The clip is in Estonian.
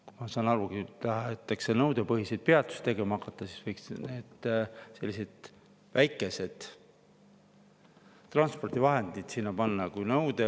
Kui tahetakse nõudepõhiseid peatusi tegema hakata, siis võiks sellised väikesed transpordivahendid sinna panna.